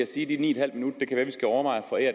sige at de ni